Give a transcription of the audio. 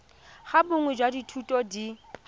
ga bonnye jwa dithuto di